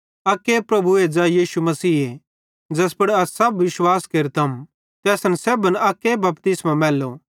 अक्के प्रभुए ज़ै यीशु मसीहे ज़ैस पुड़ अस सब विश्वास केरतम ते असेईं सेब्भन अक्के बपतिस्मो मैल्लो